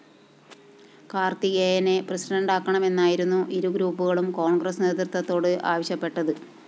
കാര്‍ത്തികേയനെ പ്രസിഡന്റാക്കണമെന്നായിരുന്നു ഇരുഗ്രൂപ്പുകളും കോണ്‍ഗ്രസ്‌ നേതൃത്വത്തോട്‌ ആവശ്യപ്പെട്ടത്‌